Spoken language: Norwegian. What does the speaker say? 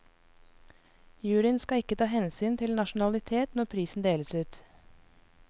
Juryen skal ikke ta hensyn til nasjonalitet når prisen deles ut.